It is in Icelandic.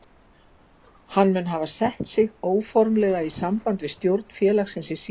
Hann mun hafa sett sig óformlega í samband við stjórn félagsins í síðustu viku.